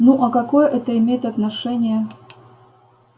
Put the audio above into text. ну а какое это имеет отношение